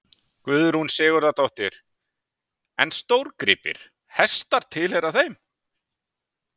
Guðrún Sigurðardóttir: En stórgripir, hestar tilheyra þeim?